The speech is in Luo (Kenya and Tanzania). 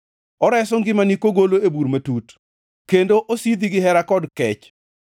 oreso ngimani kogolo e bur matut kendo osidhi gihera kod kech,